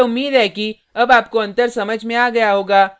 मुझे उम्मीद है कि अब आपको अंतर समझ में आ गया होगा